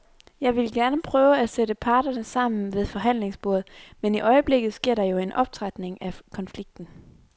Jeg ville gerne prøve at sætte parterne sammen ved forhandlingsbordet, men i øjeblikket sker der jo en optrapning af konflikten.